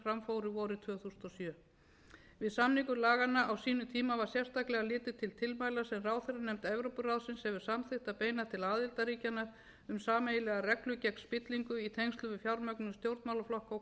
fóru vorið tvö þúsund og sjö við samningu laganna á sínum tíma var sérstaklega litið til tilmæla sem ráðherranefnd evrópuráðsins hefur samþykkt að beina til aðildarríkjanna um sameiginlegar reglur gegn spillingu í tengslum við fjármögnun stjórnmálaflokka og